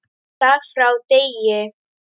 Dag frá degi.